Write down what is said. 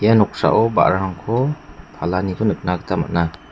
ia noksao ba·rarangko palaniko nikna gita man·a.